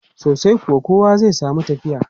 Sosai kuwa, kowa zai samu tafiya.